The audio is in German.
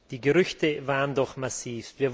Die Gerüchte waren doch massiv.